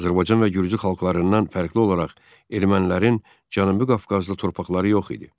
Azərbaycan və gürcü xalqlarından fərqli olaraq ermənilərin Cənubi Qafqazda torpaqları yox idi.